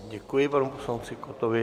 Děkuji panu poslanci Kottovi.